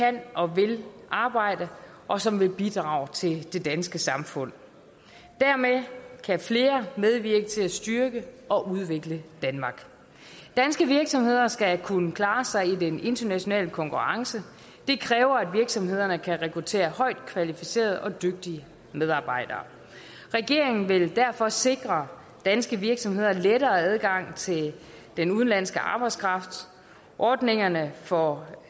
der kan og vil arbejde og som vil bidrage til det danske samfund dermed kan flere medvirke til at styrke og udvikle danmark danske virksomheder skal kunne klare sig i den international konkurrence det kræver at virksomhederne kan rekruttere højt kvalificerede og dygtige medarbejdere regeringen vil derfor sikre danske virksomheder lettere adgang til den udenlandske arbejdskraft ordningerne for